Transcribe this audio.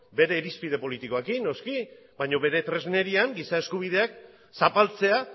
bere irizpide politikoekin noski baina bere tresnerian giza eskubideak zapaltzea